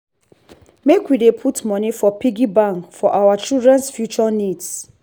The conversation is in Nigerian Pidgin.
make we dey put money for piggy bank for our children’s future needs.